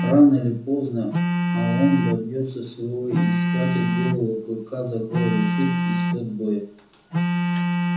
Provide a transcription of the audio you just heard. рано или поздно а он добьётся своего и схватив белого клыка за горло решит исход боя